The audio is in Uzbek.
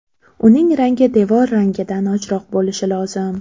Uning rangi devor rangidan ochroq bo‘lishi lozim.